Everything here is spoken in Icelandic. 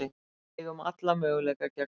Eigum alla möguleika gegn Hamri